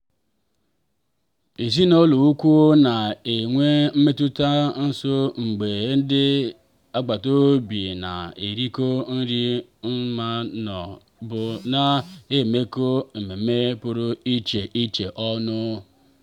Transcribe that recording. èzinùlọ̀ ùkwù na-enwe mmetụta nso mgbe ndị agbata obi na-erikọ nri ma ọ bụ na-emekọ mmemme pụrụ iche iche ọnụ.